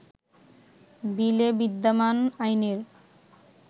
বিলে বিদ্যমান আইনের